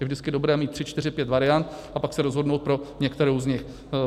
Je vždycky dobré mít tři, čtyři, pět variant, a pak se rozhodnout pro některou z nich.